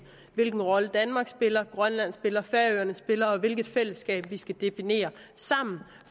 hvilken rolle danmark spiller grønland spiller færøerne spiller og hvilket fællesskab vi skal definere sammen